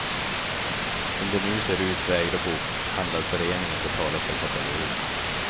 Som det nu ser ut vägrar bokhandlarföreningen betala för katalogen.